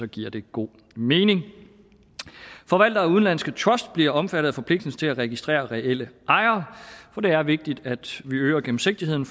giver det god mening forvaltere af udenlandske trusts bliver omfattet af forpligtelsen til at registrere reelle ejere for det er vigtigt at vi øger gennemsigtigheden